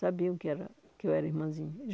Sabiam que era que eu era irmãzinha.